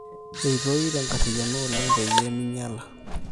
eitoi tenkarriyiano oleng pee meinyala